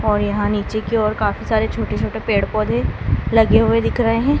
और यहां नीचे की ओर काफी सारे छोटे छोटे पेड़ पौधे लगे हुए दिख रहे--